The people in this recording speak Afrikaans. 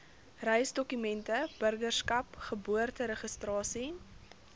reisdokumente burgerskap geboorteregistrasie